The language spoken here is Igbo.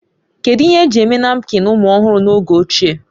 Kedu ihe eji eme napkịn ụmụ ọhụrụ n'oge ochie?